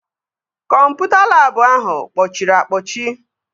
Kọmputa labụ ahụ kpọchiri akpọchi